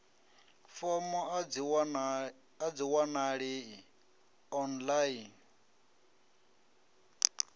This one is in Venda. fomo a dzi wanalei online